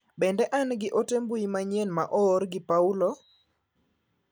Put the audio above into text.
Bende an gi ote mbui manyien ma oor gi Paulo?